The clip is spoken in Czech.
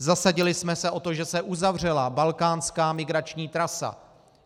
Zasadili jsme se o to, že se uzavřela balkánská migrační trasa.